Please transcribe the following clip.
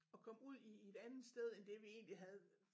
Og komme ud i i et andet sted end det vi egentlig havde